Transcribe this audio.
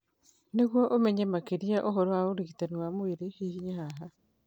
Nĩguo ũmenye makĩria ũhoro ũrigitani wa mwĩrĩ, hihinya haha.